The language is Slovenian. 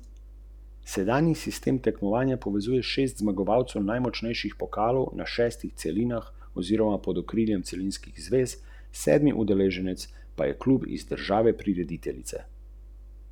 Alfi je pazljivo zaprl usta in si prisesal umetne zobe pokojne Radetove žene na dlesni.